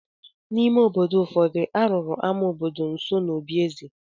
N’ime obodo ụfọdụ, a rụrụ ámá obodo nso n’obí eze.